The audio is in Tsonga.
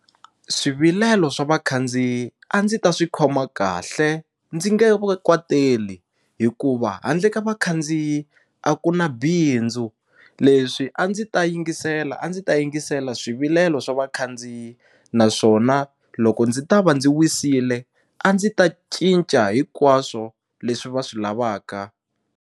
Swivilelo swa vakhandziyi a ndzi ta swi khoma kahle ndzi nge va kwateteli hikuva handle ka vakhandziyi a ku na bindzu leswi a ndzi ta yingisela a ndzi ta yingisela swivilelo swa vakhandziyi naswona loko ndzi ta va ndzi wisile a ndzi ta cinca hinkwaswo leswi va swi lavaka.